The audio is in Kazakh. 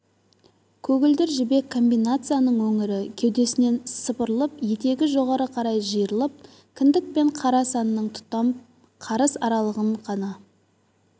көгілдір жібек комбинацияның өңірі кеудесінен сыпырылып етегі жоғары қарай жиырылып кіндік пен қара санның тұтам қарыс аралығын ғана